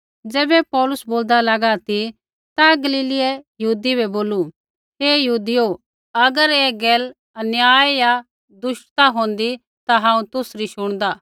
ज़ैबै पौलुस बोलदा लागा ती ता गलीलीयै यहूदी बै बोलू हे यहूदियो अगर ऐ गैल अन्याय या दुष्टता होंदै ता हांऊँ तुसरी शुणदा